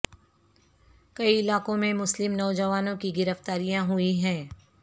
کئی علاقوں میں مسلم نوجوانوں کی گرفتاریاں ہوئی ہیں